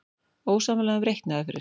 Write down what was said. Ósammála um reikniaðferðir